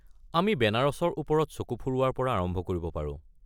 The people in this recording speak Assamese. আমি বেনাৰসৰ ওপৰত চকু ফুৰোৱাৰ পৰা আৰম্ভ কৰিব পাৰোঁ।